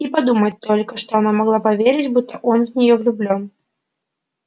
и подумать только что она могла поверить будто он в неё влюблён